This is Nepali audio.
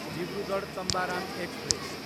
डिब्रुगढ, तम्बाराम एक्सप्रेस